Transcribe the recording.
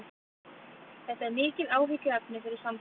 Þetta er mikið áhyggjuefni fyrir samtökin